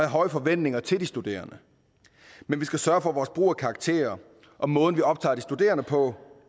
høje forventninger til de studerende men vi skal sørge for at vores brug af karakterer og måden vi optager de studerende på